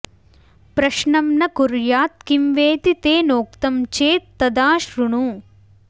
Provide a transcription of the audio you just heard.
प्रश्नं न कुर्यात् किं वेति तेनोक्तं चेत् तदा श्रृणु